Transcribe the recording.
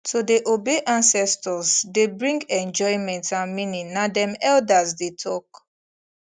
to dey obey ancestors dey bring enjoyment and meaning na dem elders dey talk